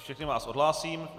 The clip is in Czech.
Všechny vás odhlásím.